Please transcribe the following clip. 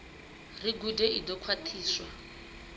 ri gude i ḓo khwaṱhiswa